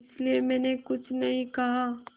इसलिए मैंने कुछ नहीं कहा